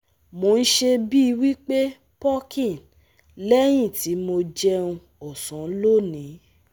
mo n se bii wi pe puking lẹ́yìn tí mo jẹun osan loni